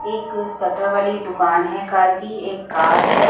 एक शटर वाली दुकान हैं कार की एक कार हैं ।